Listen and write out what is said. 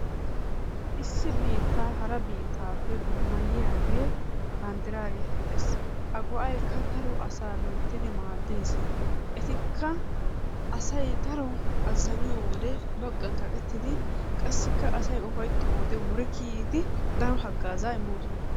Issi biittaa hara biittaappe dummayiyaagee banddiraa getettees. A go"aykka daro asaa loyttidi maaddees. Etikka asay daro azaniyoo wode baggan kaqettidi qassikka asay ufayttiyoo wode wuri kiiyyidi daro hagazzaa immoosona.